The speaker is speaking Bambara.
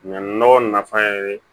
Ɲinɛ nɔgɔ nafan ye